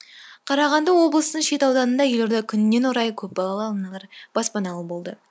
қарағанды облысын шет ауданында елорда күнінен орай көпбалалы аналар баспаналы болды